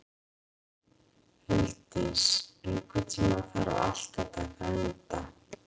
Huldís, einhvern tímann þarf allt að taka enda.